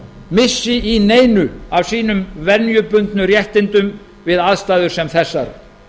missi í neinu af sínum venjubundnu réttindum við aðstæður sem þessar